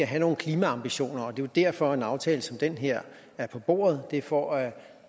have nogle klimaambitioner og det er jo derfor at en aftale som den her er på bordet det er for at